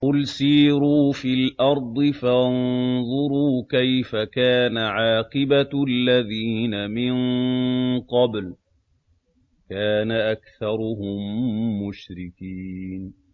قُلْ سِيرُوا فِي الْأَرْضِ فَانظُرُوا كَيْفَ كَانَ عَاقِبَةُ الَّذِينَ مِن قَبْلُ ۚ كَانَ أَكْثَرُهُم مُّشْرِكِينَ